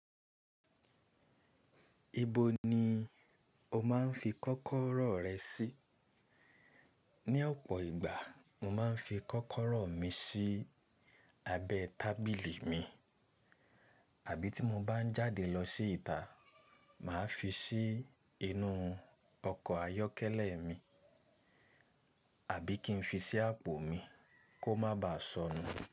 Ibo ni o máa ń fi kọ́kọ́rọ́ rẹ sí? Ní ọ̀pọ̀ ìgbà, mo máa ń fi kọ́kọ́rọ́ mi sí abẹ́ tábìlì mi, àbí tí mo bá ń jáde lọ sí ìta, màá fi sí inú ọkọ̀ ayọ́kẹ́lẹ́ mi, àbí kí n fi sí àpò mi kó má baà sọnù.